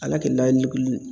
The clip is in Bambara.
Ala kɛ la